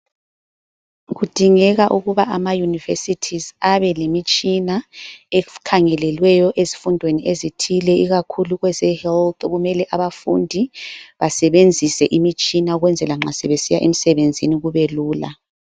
Kudingeka ukuba ama Universities abelemitshina ekhangelelweyo ezifundweni ezithile ikakhulu kwe zehealth kumele abafundi basebenzise imitshina ukwenzela nxa sebesiya emsebenzini kube lula.